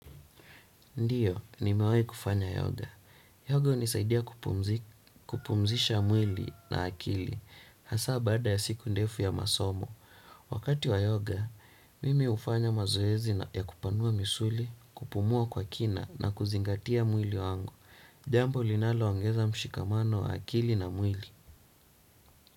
Ndiyo, nimewahi kufanya yoga. Yoga hunisaidia kupumzisha mwili na akili. Hasa baada ya siku ndefu ya masomo, wakati wa yoga, mimi hufanya mazoezi ya kupanua misuli, kupumua kwa kina na kuzingatia mwili wangu. Jambo linaloongeza mshikamano wa akili na mwili.